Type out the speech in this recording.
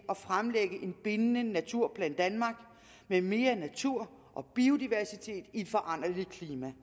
at fremlægge en bindende naturplan danmark med mere natur og biodiversitet i et foranderligt klima